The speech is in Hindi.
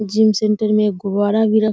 जिम सेंटर में एक गुब्बारा भी र --